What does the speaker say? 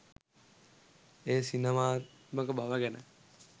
එහි සිනමාත්මක බව ගැන